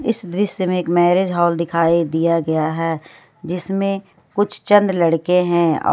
इस दृश्य में एक मैरिज हॉल दिखाई दिया गया है जिसमें कुछ चंद लड़के हैं और।